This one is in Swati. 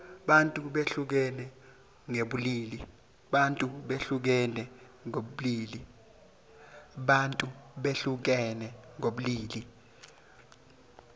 bantfu behlukene ngebulili